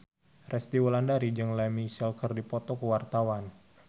Resty Wulandari jeung Lea Michele keur dipoto ku wartawan